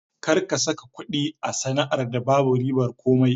Kar ka saka kuɗi a sana'ar da babu ribar komai!